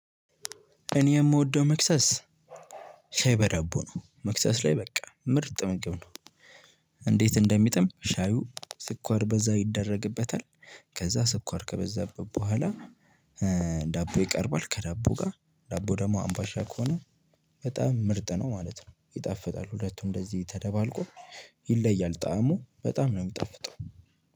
እኔ የምወደው መክሰስ ሻይ በዳቦ ነው። መክሰስ ላይ በቃ ምርጥ ምግብ ነው። እንዴት እንደሚጥም ሻዩ ስኳር በዛ ይደረግበታል። ከዛ ስኳር ከበዛበት በኋላ። ዳቦ ይቀርባል ከዳቦ ጋር ዳቦ ደግሞ አምባሻ ከሆነ በጣም ምርጥ ነው ማለት ነው። ይጣፍጣል ሁለቱ እንደዚህ ተደባልቆ ይለያል ጣዕሙ በጣም ነው የሚጣፍጠው።